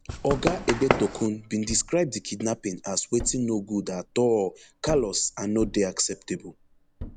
oga egbetokun bin describe di kidnapping as wetin no good at all callous and no dey acceptable